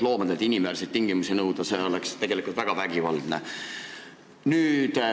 Loomadelt inimväärseid tingimusi nõuda oleks tegelikult väga vägivaldne.